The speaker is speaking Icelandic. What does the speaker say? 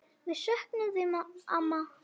Við söknum þín, amma.